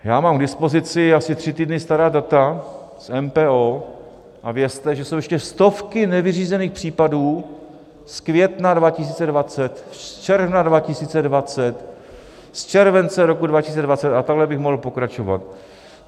Já mám k dispozici asi tři týdny stará data z MPO a vězte, že jsou ještě stovky nevyřízených případů z května 2020, z června 2020, z července roku 2020 a takhle bych mohl pokračovat.